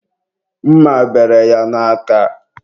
mma bere ya n'aka.